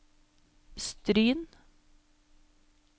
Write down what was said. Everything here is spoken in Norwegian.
Stryn